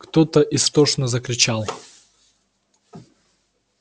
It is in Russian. кто-то истошно закричал